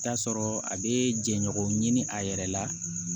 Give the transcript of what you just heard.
T'a sɔrɔ a be jɛɲɔgɔnw ɲini a yɛrɛ la